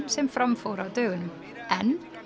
sem fram fór á dögunum en